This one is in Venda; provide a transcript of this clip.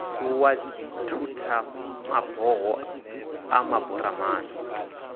fuwa dzithutha maboho a maburamani